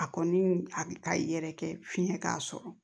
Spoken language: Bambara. A kɔni a bɛ ka yɛrɛkɛ fiyɛn k'a sɔrɔ